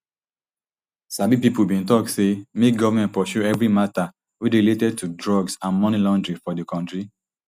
sabi pipo bin tok say make goment pursue every mata way dey relate to drugs and money laundering for di kontri